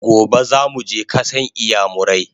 Gobe zamuje kasan iyamurai!